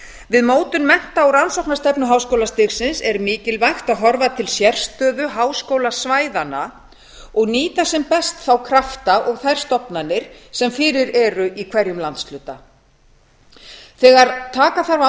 við mótun mennta og rannsóknastefnu háskólastigsins er mikilvægt að horfa til sérstöðu háskólasvæðanna og nýta sem best þá krafta og þær stofnanir sem fyrir eru í hverjum landshluta þegar taka þarf